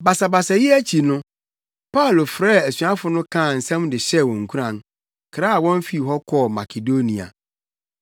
Basabasayɛ yi akyi no, Paulo frɛɛ asuafo no kaa nsɛm de hyɛɛ wɔn nkuran, kraa wɔn fii hɔ kɔɔ Makedonia.